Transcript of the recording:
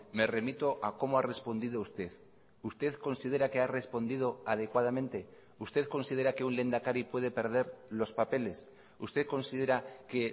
me remito a cómo ha respondido usted usted considera que ha respondido adecuadamente usted considera que un lehendakari puede perder los papeles usted considera que